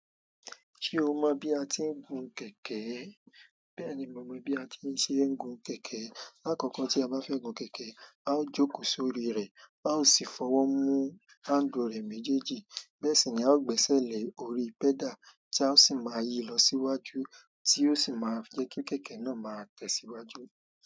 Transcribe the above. Ṣé o mọ̀ bí a ti ń gun kẹ̀kẹ́? Bẹ́ẹ̀ni, mo mọ̀ bí a ti ń ṣe ń gun kẹ̀kẹ́. Àkọ́kọ́ tí a bá fẹ́ gun kẹ̀kẹ́, a ó jókòó sórí rẹ̀, a ó sì fọwọ́ mú handle rẹ̀ méjèèjì. Bẹ́ẹ̀ sì ni, a ó gbẹ́sẹ̀ lé orí pedal, tí a ó sì máa yí lọ síwájú, tí ó sì máa pe kí kẹ̀kẹ́ náà máa tẹ̀síwájú.